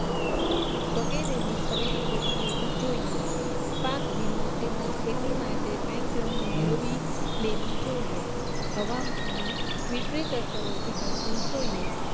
વગેરેની ખરીદી કરી લેવી જોઈએ પાક વીમો તેમજ ખેતી માટે બેંક લોન મેળવી લેવી જોઈએ હવામાનની વિતરિત અસરોથી બચવું જોઈએ